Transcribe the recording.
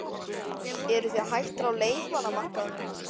Eruð þið hættir á leikmannamarkaðnum?